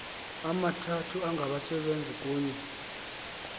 amathathu angabasebenzi kunye